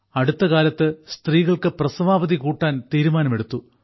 അടുത്തകാലത്ത് സ്ത്രീകൾക്ക് പ്രസവാവധി കൂട്ടാൻ തീരുമാനമെടുത്തു